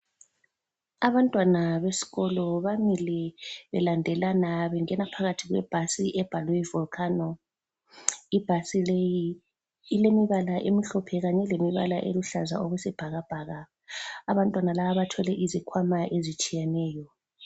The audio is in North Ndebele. Abantwana besikolo bamile belandelana bengena phakathi kwe bhasi ebhalwe Volcano. Ibhasi leyi ilemibala emhlophe kanye lemibala eluhlaza okwesibhakabhaka. Abantwana laba bathwele izikhwama ezitshiyeneyo.